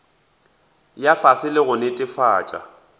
ya fase le go netefatša